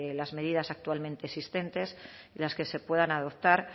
las medidas actualmente existentes y las que se puedan adoptar